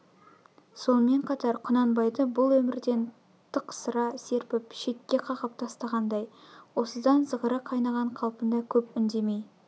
сонымен қатар құнанбайды бұл өмірден тықсыра серпіп шетке қағып тастағандай осыдан зығыры қайнаған қалпында көп үндемей